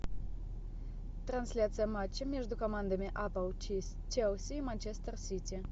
трансляция матча между командами апл челси и манчестер сити